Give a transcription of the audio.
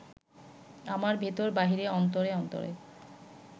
আমার ভিতর বাহিরে অন্তরে অন্তরে